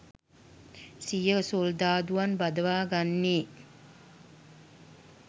සිය සොල්දාදුවන් බදවා ගන්නේ